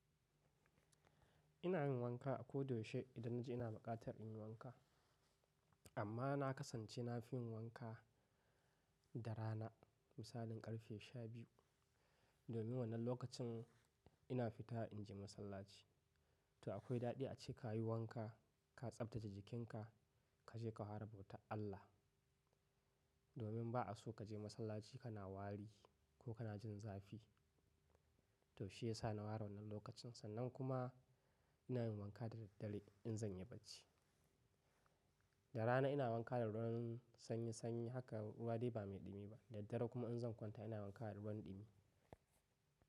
Ina yin wanka a ko da yaushe idan na ji ina buƙatar in yi wanka. Amma na kasance na fi yin wanka da rana, misalin ƙarfe shabiyu, domin wannan lokacin ina fita in je masallaci. To akwai daɗi ace ka yi wanka, ka tsaftace jikinka, ka je ka hara bautan Allah. Domin ba a so kaje masallaci kana wari ko kana jin zafi. To shi ya sa na ware wannan lokacin sannan kuma ina yin wanka da daddare in zan yi bacci. Da rana ina wanka da ruwan sanyi sanyi haka ruwa dai ba mai ɗumi ba. Daddare kuma in zan kwanta ina wanka da ruwan ɗumi.